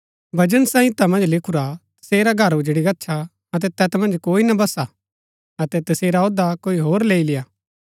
भजन संहिता मन्ज लिखुरा तसेरा घर उजड़ी गच्छा अतै तैत मन्ज कोई ना बसा अतै तसेरा औह्दा कोई होर लैई लेय्आ